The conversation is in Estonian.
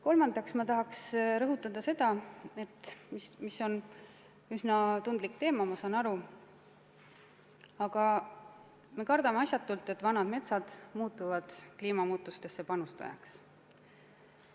Kolmandaks ma tahan rõhutada seda, et see on küll üsna tundlik teema, ma saan aru, aga me kardame asjatult, et vanad metsad muutuvad kliimamuutustesse panustajaks.